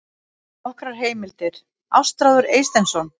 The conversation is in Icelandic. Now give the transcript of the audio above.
Nokkrar heimildir: Ástráður Eysteinsson.